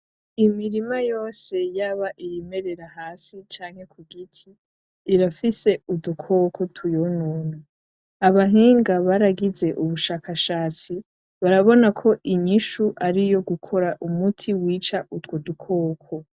Imirima yose yaba iyimerera hasi canke ku giti, irafise udukoko tuyonona. Abahinga baragize ubushakashatsi, barabona ko umuti aruwo gukora umuti wica utwo dukoko.